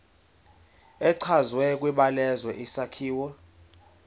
echazwe kwibalazwe isakhiwo